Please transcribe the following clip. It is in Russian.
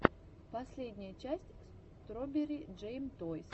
последняя часть строберри джэм тойс